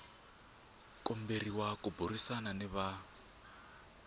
komberiwa ku burisana ni va